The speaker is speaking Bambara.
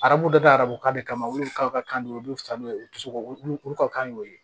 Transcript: Arabu dɔ da arabu kan de kama olu ka kan de u b'u fa n'o ye u tɛ se k'o olu ka kan y'o ye